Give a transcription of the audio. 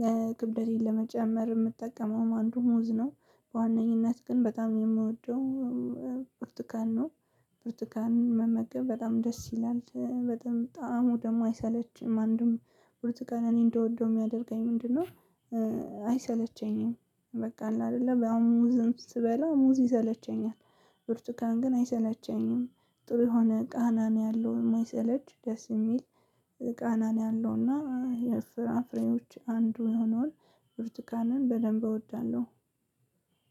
ለክብደቴን ለመጨመር የምጠቀመው አንዱ ሙዝ ነው። በዋነኝነት ግን በጣም የምወደው ብርቱካን ነው። ብርቱካን መመገብ በጣም ደስ ይላል በጣም ጣዕሙ ደግሞ አይሰለችም አንድም ብርቱካን እኔ እንድወደው የሚያደርገኝ ምንድነው? አይሰለቸኝም። በቃ አለ አይደለ ሙዝም ስበላ ሙዝ ይሰለቸኛል። ብርቱካን ግን አይሰለቸኝም። ጥሩ የሆነ ቃና ነው ያለው የማይሰለች ደስ የሚል ቃና ነው ያለው እና የፍራፍሬዎች አንዱ የሆነውን ብርቱካንን በደንብ እወዳለሁ።